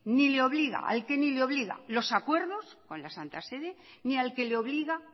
ni le obliga los acuerdos con la santa sede ni al que le obliga